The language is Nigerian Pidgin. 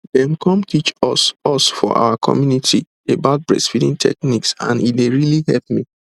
dem come teach us us for our community about breastfeeding techniques and e really hep me